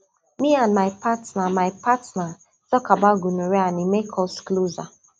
me and my partner my partner talk about gonorrhea and e make us closer